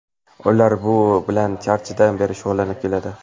Ular bu bilan anchadan beri shug‘ullanib keladi.